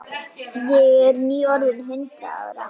Ég er nýorðin hundrað ára.